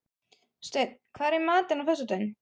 Steinn, hvað er í matinn á föstudaginn?